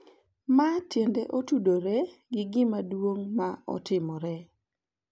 Ma tiende otudore gi gima duong’ ma otimore,